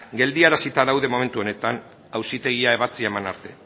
geldiarazita daude momentu honetan auzitegiak ebatzia eman arte